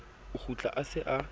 o kgutla a se a